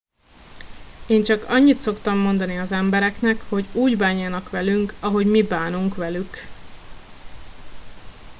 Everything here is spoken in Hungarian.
én csak annyit szoktam mondani az embereknek hogy úgy bánjanak velünk ahogy mi bánunk velük